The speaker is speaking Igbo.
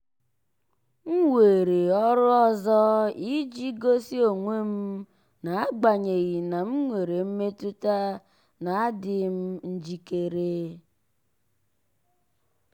m weere ọrụ ọzọ iji gosi onwe m n'agbanyeghị na m nwere mmetụta na adịghị m njikere.